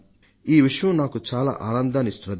ఈ విషయం నాకు చాలా ఆనందాన్ని ఇస్తున్నది